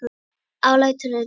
Ég er alæta á tónlist.